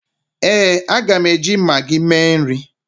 éè, a ga m eji maggi mee nri